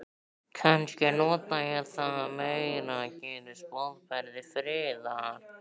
Kannski nota ég það meira, gerist boðberi friðar.